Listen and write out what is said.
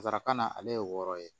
Nsaraka na ale ye wɔɔrɔ ye